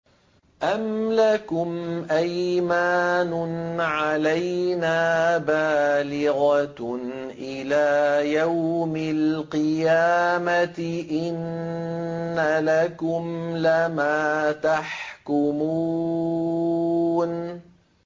أَمْ لَكُمْ أَيْمَانٌ عَلَيْنَا بَالِغَةٌ إِلَىٰ يَوْمِ الْقِيَامَةِ ۙ إِنَّ لَكُمْ لَمَا تَحْكُمُونَ